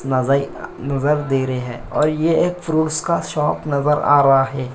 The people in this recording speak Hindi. नजर नजर दे रहे है और यह एक फ्रूट्स का शॉप नजर आ रहा है।